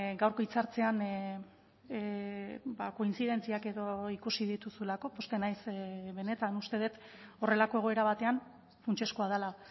gaurko hitzartzean kointzidentziak edo ikusi dituzulako pozten naiz benetan uste dut horrelako egoera batean funtsezkoa dela